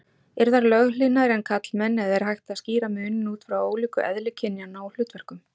Eru þær löghlýðnari en karlmenn eða er hægt að skýra muninn út frá ólíku eðli kynjanna og hlutverkum?